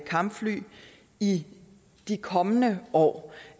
kampfly i de kommende år